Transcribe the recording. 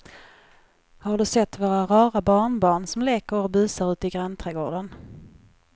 Har du sett våra rara barnbarn som leker och busar ute i grannträdgården!